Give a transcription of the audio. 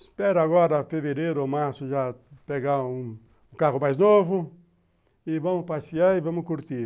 Espero agora fevereiro ou março já pegar um carro mais novo e vamos passear e vamos curtir.